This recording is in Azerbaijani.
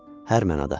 Hər mənada.